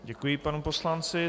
Děkuji panu poslanci.